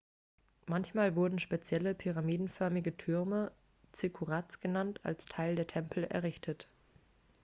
manchmal wurden spezielle pyramidenförmige türme zikkurats genannt als teil der tempel errichtet